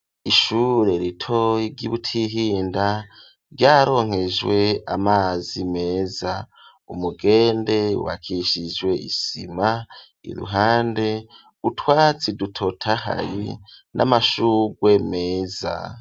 Ishure ritoya ry'ibutihinda ryaronkejwe amazi meza umugende wubakishijwe isima iruhande utwatsi dutotahaye n'amashugwe meza.